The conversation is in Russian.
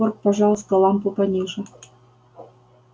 порк пожалуйста лампу пониже